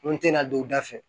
N te na don u da fɛ